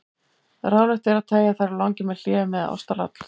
Ráðlegt er að teygja þær á langinn með hléum eða ástaratlotum.